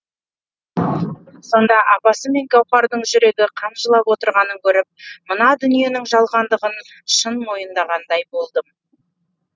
сонда апасы мен гауһардың жүрегі қан жылап отырғанын көріп мына дүниенің жалғандығын шын мойындағандай болдым